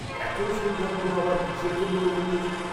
এত সৌভাগ্য আমার কিসের জন্য বলুন দেখি?